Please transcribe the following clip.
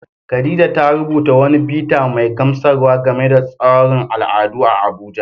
Khadija ta rubuta wani bita mai gamsarwa game da taron al'adu a Abuja.